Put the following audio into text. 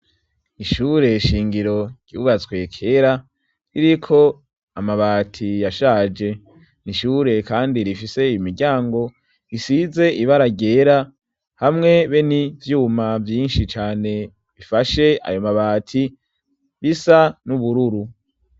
ishure shingiro ryubatswe kera ririko amabati yashaje n'ishure kandi rifise imiryango risize ibara ryera hamwe be n'ivyuma vyinshi cane bifashe ayo mabati bisa n'ubururu